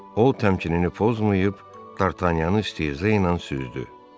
O təmkinini pozmayıb D'Artagnanı istehzeyilə süzdü.